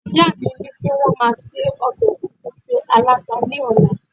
ìyá mi ni pe won ma se obe ogunfe alata ni ọla